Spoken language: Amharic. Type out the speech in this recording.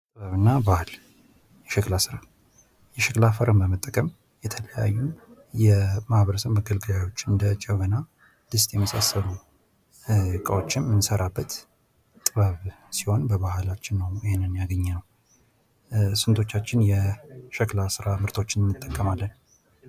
ጥበብ እና ባህል ፦ የሸክላ ስራ ፦ የሸክላ አፈርን በመጠቀም የተለያዩ የማህበረሰብ መገልገያዎችን እንደ ጀበና ፣ ድስት የመሳሰሉ እቃዎችን የምንሰራበት ጥበብ ሲሆን በባህላችን ነው ይህንን ያገኘነው ። ስንቶቻችን የሸክላ ስራ ምርቶችን እንጠቀማለን ?